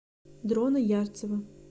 дрона ярцева